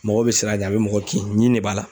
Mɔgɔw bɛ sira de a bɛ mɔgɔ kin ɲin de b'a la.